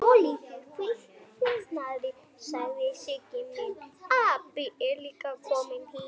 Svo flýtiði ykkur heim.